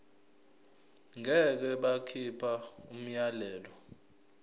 ngeke bakhipha umyalelo